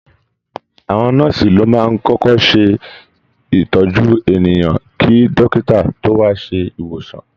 Àwọn nọ́ọ̀sì ló máa ń kọ́kọ́ ṣé ìtọ́jú ènìyàn kí dọ́kítá tó wá ṣe ìwòsàn